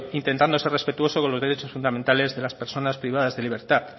intentando ser respetuosos con los derechos fundamentales de las personas privadas de libertad